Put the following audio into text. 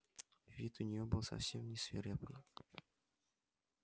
вид у неё был совсем не свирепый